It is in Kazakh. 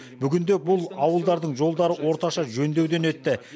бүгінде бұл ауылдардың жолдары орташа жөндеуден өтті